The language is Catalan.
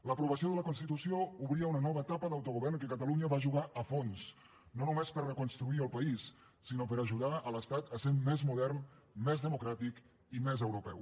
l’aprovació de la constitució obria una nova etapa d’autogovern en què catalunya va jugar a fons no només per reconstruir el país sinó per ajudar l’estat a ser més modern més democràtic i més europeu